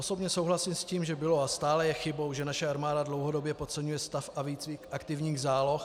Osobně souhlasím s tím, že bylo a stále je chybou, že naše armáda dlouhodobě podceňuje stav a výcvik aktivních záloh -